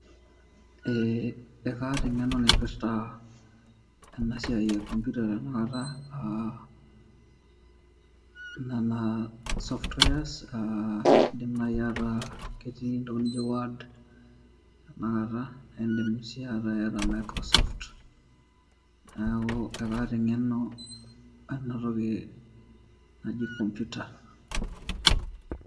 Eeh ekaata eng'eno naipirta ena siai e computer tenakata uh nana softwares uh indim naaji ataa ketii entoki nijio word tenakata aindim sii ataa iyata microsoft neeku ekaata eng'eno ena toki naji computer.